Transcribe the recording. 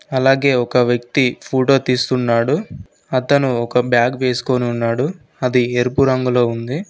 అలాగే ఒక వ్యక్తి ఫోటో తీస్తున్నాడు అతను ఒక బ్యాగ్ వేసుకొని ఉన్నాడు అది ఎరుపు రంగులో ఉంది.